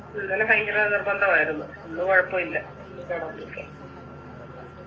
ഇന്നലെ ഭയങ്കര നിർബന്ധമായിരുന്നു ഇന്ന് കൊഴപ്പയില്ല ഇന്ന് കിടന്നിട്ട്